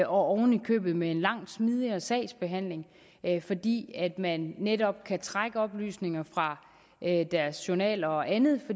oven i købet med en langt smidigere sagsbehandling fordi man netop kan trække oplysninger fra deres journaler og andet